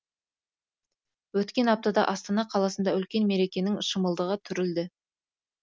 өткен аптада астана қаласында үлкен мерекенің шымылдығы түрілді